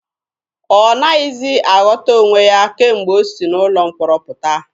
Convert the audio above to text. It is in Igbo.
Ọ naghịzi aghọta onwe ya kemgbe o si n'ụlọ mkpọrọ pụta.